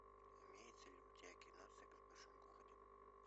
имеется ли у тебя кино секс в большом городе